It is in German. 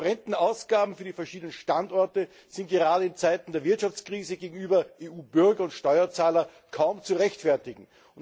Die horrenden Ausgaben für die verschiedenen Standorte sind gerade in Zeiten der Wirtschaftskrise gegenüber EU Bürgern und Steuerzahlern kaum zu rechtfertigen.